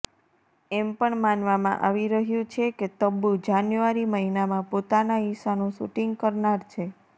એમ પણ માનવામાં આવી રહ્યુ છે કે તબ્બુ જાન્યુઆરી મહિનામાં પોતાના હિસ્સાનુ શુટિંગ કરનાર છે